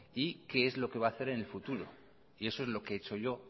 y qué es lo que va a hacer en el futuro eso es lo que he hecho yo